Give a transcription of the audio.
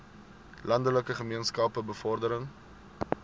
landelike gemeenskappe bevordering